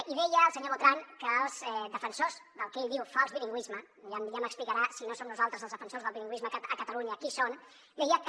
i deia el senyor botran que els defensors del que ell en diu fals bilingüisme i ja m’explicarà si no som nosaltres els defensors del bilingüisme a catalunya qui són deia que